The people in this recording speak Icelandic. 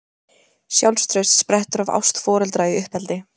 Sjálfstraust sprettur af ást foreldra í uppeldi.